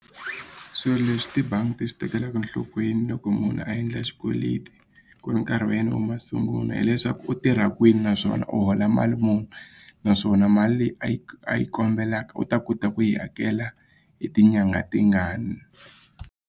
Swilo leswi tibangi ti swi tekelaka enhlokweni loko munhu a endla xikweleti ku ri nkarhi wa yena wa masungulo hileswaku u tirha kwini naswona u hola mali muni naswona mali leyi a yi a yi kombelaka u ta kota ku yi hakela hi tinyangha tingani.